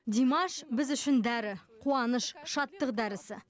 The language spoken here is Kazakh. димаш біз үшін дәрі қуаныш шаттық дәрісі